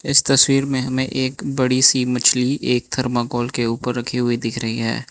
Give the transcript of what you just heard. इस तस्वीर में हमें एक बड़ी सी मछली एक थर्माकोल के ऊपर रखी हुई दिख रही है।